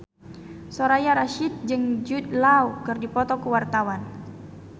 Soraya Rasyid jeung Jude Law keur dipoto ku wartawan